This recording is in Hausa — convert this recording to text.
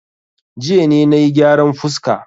Jiya ne na yi gyaran fuska.